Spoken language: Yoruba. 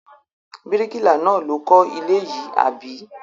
Bíríkìlà náà ló kọ́ ilé yìí, àbí?